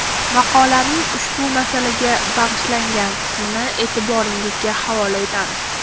Maqolaning ushbu masalaga bag‘ishlangan qismini e’tiboringizga havola etamiz.